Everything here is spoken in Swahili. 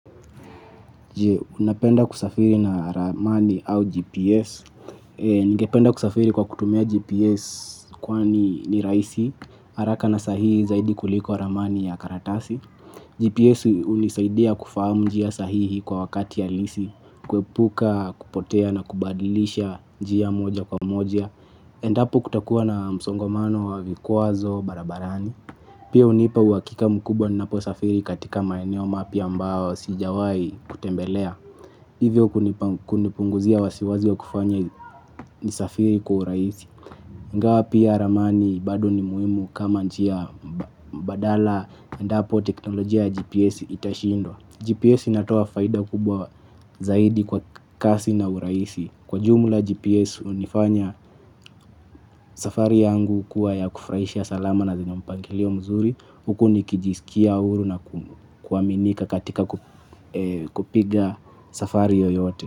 Je, unapenda kusafiri na ramani au GPS? Ningependa kusafiri kwa kutumia GPS kwani ni rahisi. Haraka na sahihi zaidi kuliko ramani ya karatasi. GPS hunisaidia kufahamu njia sahihi kwa wakati halisi. Kuepuka kupotea na kubadilisha njia moja kwa moja. Endapo kutakuwa na msongomano wa vikwazo barabarani. Pia hunipa uhakika mkubwa ninapo safiri katika maeneo mapya ambao sijawai kutembelea. Hivyo kunipunguzia wasiwasi wa kufanya nisafiri kwa urahisi. Ingawa pia ramani bado ni muhimu kama njia badala endapo teknolojia GPS itashindwa. GPS inatoa faida kubwa zaidi kwa kasi na urahisi. Kwa jumla, GPS hunifanya safari yangu kuwa ya kufurahisha, salama na yenye mpangilio mzuri. Huku nikijisikia huru na kuaminika katika kupiga safari yoyote.